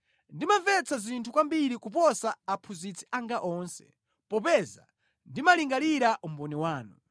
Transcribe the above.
Ndimamvetsa zinthu kwambiri kuposa aphunzitsi anga onse popeza ndimalingalira umboni wanu.